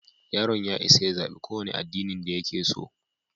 Yaron ya isa ya zaɓi ƙowane addinin da yake so.